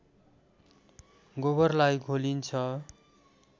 गोबरलाई घोलिन्छ